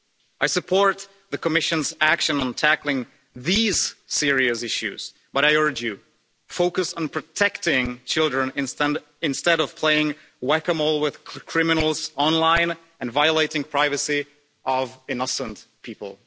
I support the Commission's action on tackling these serious issues, but I urge you focus on protecting children instead of playing whack-a-mole with criminals online and violating the privacy of innocent people.